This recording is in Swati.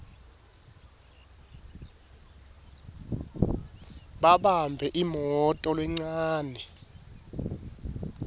babambe imoto lencane